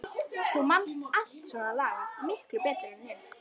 Þú manst allt svona lagað miklu betur en ég.